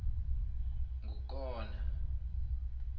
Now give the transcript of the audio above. ngukona